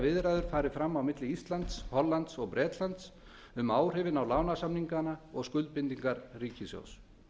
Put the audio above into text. viðræður fari fram á milli íslands hollands og bretlands um áhrifin á lánasamningana og skuldbindingar ríkissjóðs